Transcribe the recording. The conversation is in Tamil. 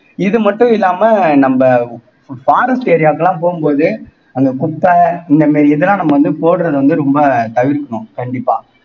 இது மட்டும் இல்லாம நம்ம forest area க்கெல்லாம் போகும் போது அங்க குப்ப இந்த மாறி இதெல்லாம் நம்ம வந்து போடுறது வந்து ரொம்ப தவிர்க்கணும் கண்டிப்பா